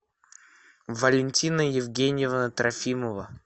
валентина евгеньевна трофимова